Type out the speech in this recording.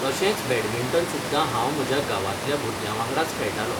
तशेंच बॅडमिंटन सुद्दां हांव म्हज्या गांवांतल्या भुरग्यां वांगडाच खेळटालों.